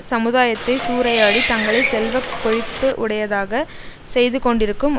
சமுதாயத்தை சூறையாடி தங்களை செல்வ கொழிப்பு உடையதாக செய்து கொண்டிருக்கும்